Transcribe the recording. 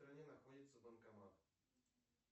где находится банкомат